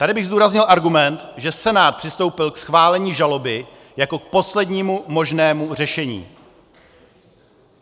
Tady bych zdůraznil argument, že Senát přistoupil k schválení žaloby jako k poslednímu možnému řešení.